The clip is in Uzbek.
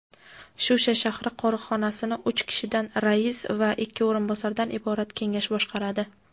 "Shusha shahri" qo‘riqxonasini uch kishidan - rais va ikki o‘rinbosardan iborat kengash boshqaradi.